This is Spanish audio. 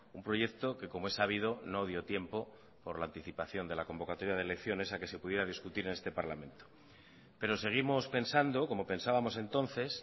un proyecto que como es sabido no dio tiempo por la anticipación de la convocatoria de elecciones a que se pudiera discutir en este parlamento pero seguimos pensando como pensábamos entonces